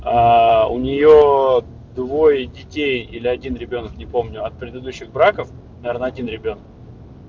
у неё двое детей или один ребёнок не помню от предыдущих браков наверное один ребёнок